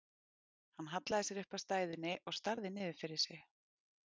Hann hallaði sér upp að stæðunni og starði niður fyrir sig.